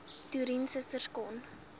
toerien susters kon